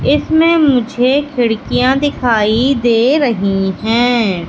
इसमें मुझे खिड़कियां दिखाई दे रही हैं।